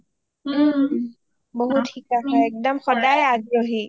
ওম বহুত শিকা হয় একদম সদাই আগ্ৰহী